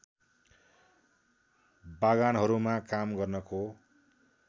बागानहरूमा काम गर्नको